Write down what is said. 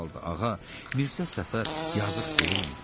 Ağa, Mirzə Səfər yazıq deyilmi?